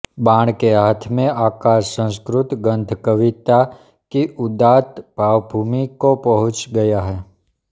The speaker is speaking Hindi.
बाण के हाथ में आकर संस्कृत गद्य कविता की उदात्त भावभूमि को पहुॅंच गया है